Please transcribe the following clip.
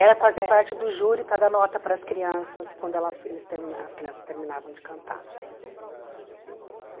Era fazer parte do júri para dar nota para as crianças quando elas eles termina as crianças terminavam de cantar. Ah